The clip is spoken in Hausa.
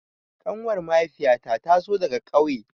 Ƙanuwar mahaifiya ta tazo daga ƙauye